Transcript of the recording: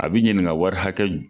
A bi ɲininka wari hakɛ